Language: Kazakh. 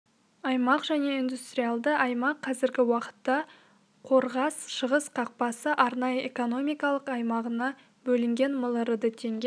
аймақ және индустриалды аймақ қазіргі уақытта қорғас шығыс қақпасы арнайы экономикалық аймағына бөлінген миллиард теңге